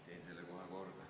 Teen selle kohe korda.